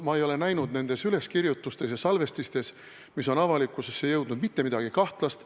Ma ei ole näinud nendes üleskirjutustes ja salvestistes, mis on avalikkuse ette jõudnud, mitte midagi kahtlast.